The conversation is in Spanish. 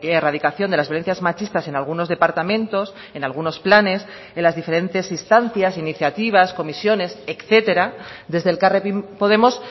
erradicación de las violencias machistas en algunos departamentos en algunos planes en las diferentes instancias iniciativas comisiones etcétera desde elkarrekin podemos